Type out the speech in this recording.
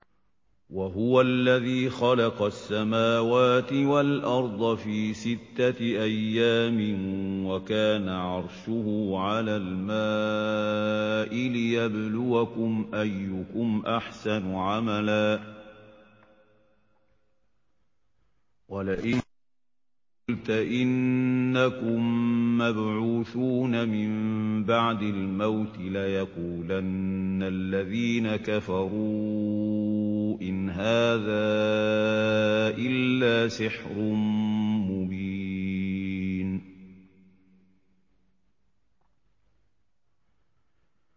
وَهُوَ الَّذِي خَلَقَ السَّمَاوَاتِ وَالْأَرْضَ فِي سِتَّةِ أَيَّامٍ وَكَانَ عَرْشُهُ عَلَى الْمَاءِ لِيَبْلُوَكُمْ أَيُّكُمْ أَحْسَنُ عَمَلًا ۗ وَلَئِن قُلْتَ إِنَّكُم مَّبْعُوثُونَ مِن بَعْدِ الْمَوْتِ لَيَقُولَنَّ الَّذِينَ كَفَرُوا إِنْ هَٰذَا إِلَّا سِحْرٌ مُّبِينٌ